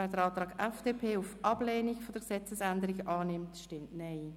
Wer den Antrag der FDP auf Ablehnung der Gesetzesänderung annimmt, stimmt Nein.